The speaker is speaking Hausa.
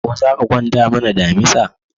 Ko za ka kwatanta mana damisa?